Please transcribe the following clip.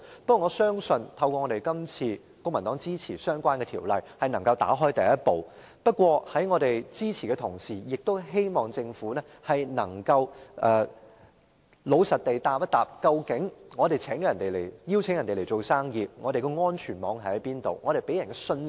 不過，我相信透過這次公民黨支持相關條例，能夠邁開第一步，但在我們給予支持的同時，亦希望政府能夠老實回答：我們邀請別人來做生意，那究竟我們是否能提供安全網，以堅定投資者的信心？